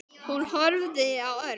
Hún horfði á Örn.